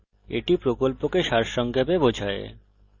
এটি কথ্য tutorial প্রকল্পকে সারসংক্ষেপে বোঝায়